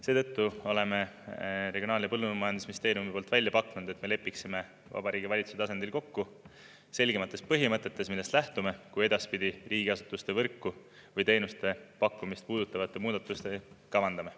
Seetõttu oleme Regionaal- ja Põllumajandusministeeriumi poolt välja pakkunud, et me lepiksime Vabariigi Valitsuse tasandil kokku selgematest põhimõtetes, millest lähtume, kui edaspidi riigiasutuste võrku või teenuste pakkumist puudutavaid muudatusi kavandame.